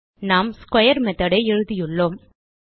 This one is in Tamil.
நாம் ஸ்க்வேர் மெத்தோட் ஐ எழுதியுள்ளோம்